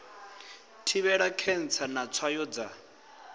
thivhela khentsa na tswayo dza